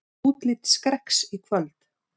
Úrslit Skrekks í kvöld